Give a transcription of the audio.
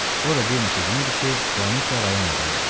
O da bir neçə gün idi ki, Qraniklə Rayanodan gəlmişdi.